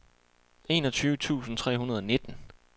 enogtyve tusind tre hundrede og nitten